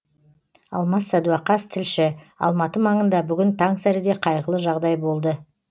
алмас сәдуақас тілші алматы маңында бүгін таңсәріде қайғылы жағдай болды